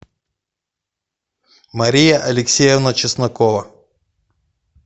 мария алексеевна чеснокова